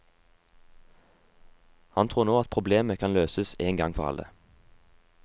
Han tror nå at problemet kan løses én gang for alle.